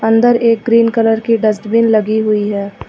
अंदर एक green colour की डस्टबिन लगी हुई है।